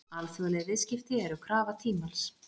Alþjóðleg viðskipti eru krafa tímans.